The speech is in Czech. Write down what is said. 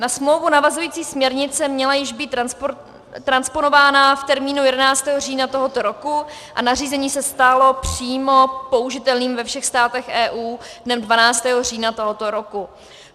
Na smlouvu navazující směrnice měla již být transponována v termínu 11. října tohoto roku a nařízení se stalo přímo použitelným ve všech státech EU dnem 12. října tohoto roku.